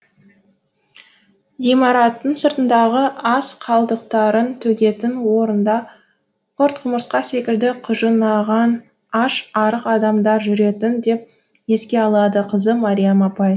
ғимараттың сыртындағы ас қалдықтарын төгетін орында құрт құмырсқа секілді құжынаған аш арық адамдар жүретін деп еске алады қызы мариям апай